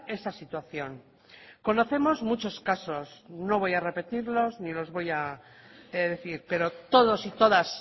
esa situación conocemos muchos casos no voy a repetirlos ni los voy a decir pero todos y todas